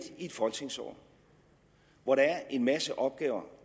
i et folketingsår hvor der er en masse opgaver